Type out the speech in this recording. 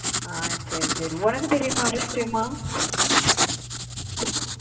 ஆஹ் சரி சரி உனக்கு தெரியுமா first அம்மா